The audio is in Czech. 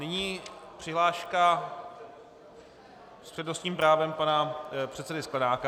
Nyní přihláška s přednostním právem pana předsedy Sklenáka.